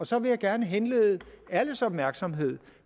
så vil jeg gerne henlede alles opmærksomhed